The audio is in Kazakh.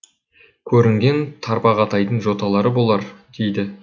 көрінген тарбағатайдың жоталары болар дейді